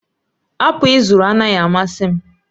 apụl ị zụrụ anaghị amasị m